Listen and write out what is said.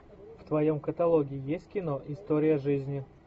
в твоем каталоге есть кино история жизни